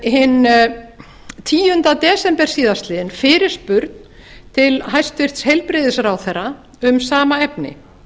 hinn tíunda desember síðastliðinn fyrirspurn til hæstvirts heilbrigðisráðherra um sama efni